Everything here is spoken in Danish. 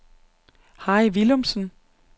Harry Villumsen